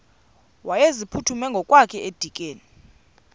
wayeziphuthume ngokwakhe edikeni